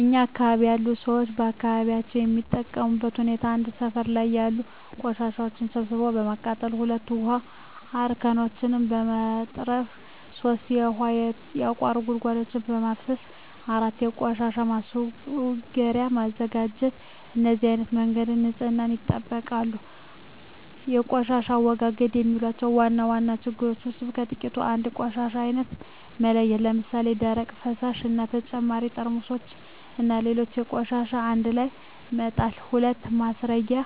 እኛ አካባቢ ያሉ ሠዎች አካባቢያቸውን የሚጠብቁበት ሁኔታ 1. ሠፈር ላይ ያሉ ቆሻሻዎችን ሠብስቦ በማቃጠል 2. ውሀ አርከፍክፎ በመጥረግ 3. ውሀ ያቋቱ ጉድጓዶችን በማፋሠስ 4. የቆሻሻ ማስረጊያ በማዘጋጀት በነዚህ አይነት መንገድ ንፅህናቸውን ይጠብቃሉ። በቆሻሻ አወጋገድ የማያቸው ዋና ዋና ችግሮች ውስጥ በጥቂቱ 1. የቆሻሻ አይነት አለመለየት ለምሣሌ፦ ደረቅ፣ ፈሣሽ እና በተጨማሪ ጠርሙስና ሌሎች ቆሻሻዎችን አንድላይ መጣል። 2. ማስረጊያ